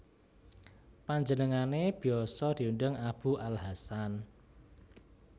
Panjenengane biasa diundang Abu al Hasan